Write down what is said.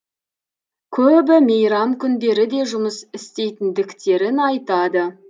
көбі мейрам күндері де жұмыс істейтіндіктерін айтады